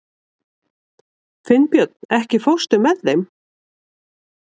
Finnbjörn, ekki fórstu með þeim?